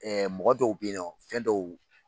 Ɛɛ mɔgɔ dɔw bɛ yen nɔ fɛn dɔw